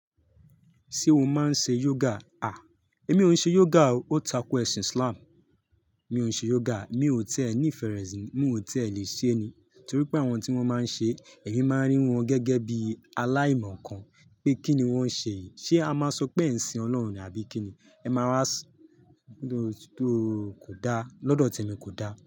Ṣé o máa ń ṣe yoga? À, èmi ò ṣe yoga o. Ó tako ẹ̀sìn Islam. Mi ò ṣe yoga, mi ò tẹ́ẹ ní ìfẹ́ rẹ̀ sí, mo ò tẹ́ẹ lè ṣe ni. Torí pé àwọn tí wọ́n máa ń ṣe, èmi máa ń rí wọn gẹ́gẹ́ bí aláìmọ̀ kan pé kí ni wọ́n ṣe yìí. Ṣé a máa sọ pé ẹ̀ n sìn Ọlọ́run ni àbí kí ni? Ẹ máa wá, tó kò da, lọ́dọ̀ ti èmi kò da.